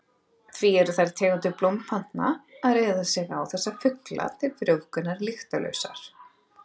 Því eru þær tegundir blómplantna sem reiða sig á þessa fugla til frjóvgunar lyktarlausar.